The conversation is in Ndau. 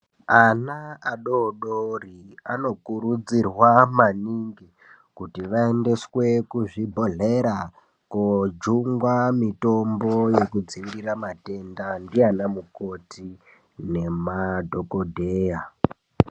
Ana adodori anokurudzirwa maningi kuti vaendeswe kuzvibhedhlera kojungwa mitombo yekudzivirira matenda ndianamukoti nemadhokodheya.